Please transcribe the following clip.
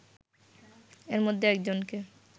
এর মধ্যে একজনকে